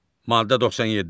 Maddə 97.